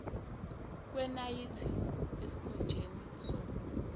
kwenayithi esikhunjeni somunwe